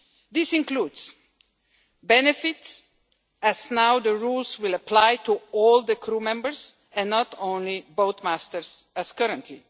This includes benefits, as now the rules will apply to all the crew members and not only boat masters as currently